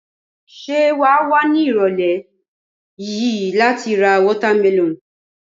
Ṣé wà wá ní ìrọ̀lẹ́ yìí láti ra watermelon?